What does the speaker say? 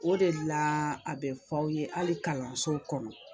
O de la a bɛ fɔ aw ye hali kalansow kɔnɔ